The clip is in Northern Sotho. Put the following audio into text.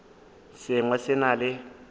se sengwe se na le